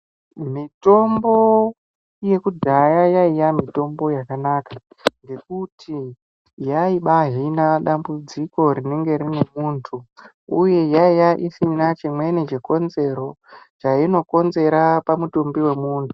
Mitombo yekudhaya yaiya mitombo yakanaka ngekuti yaibahina dambudziko rinenge rine muntu uye yaiva isina chimweni chainokonzera pamutumbi wemuntu.